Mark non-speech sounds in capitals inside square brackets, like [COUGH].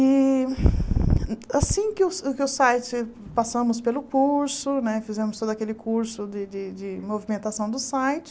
E [BREATH] assim que o que o site, passamos pelo curso né, fizemos todo aquele curso de de de movimentação do site,